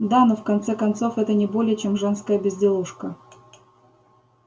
да но в конце концов это не более чем женская безделушка